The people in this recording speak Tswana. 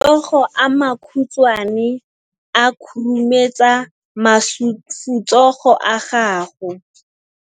Matsogo a makhutshwane a khurumetsa masufutsogo a gago.